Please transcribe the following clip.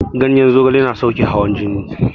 Ganyen zogale yana sauƙe hawan jini